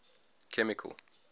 chemical